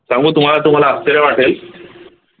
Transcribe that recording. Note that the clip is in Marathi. त्यामुळे तुम्हाला तुम्हाला आश्चर्य वाटेल